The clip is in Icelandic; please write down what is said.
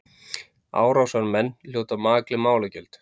Árásarmenn hljóti makleg málagjöld